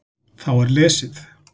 Þá er lesið